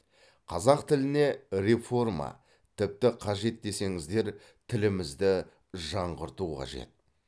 қазақ тіліне реформа тіпті қажет десеңіздер тілімізді жаңғырту қажет